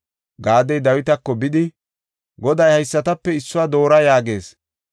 Gaadi Dawitako bidi, “Goday haysatape issuwa doora yaagees;